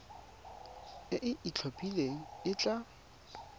e e itlhophileng e tla